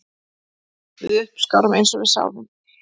Við uppskárum eins og við sáðum